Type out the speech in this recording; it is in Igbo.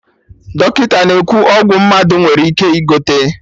Dọkịta na-ekwu ọgwụ mmadụ nwere ike ị gote